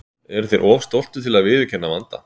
Eru þeir of stoltir til að viðurkenna vanda?